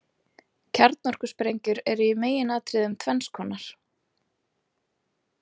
Kjarnorkusprengjur eru í meginatriðum tvenns konar.